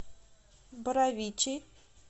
боровичей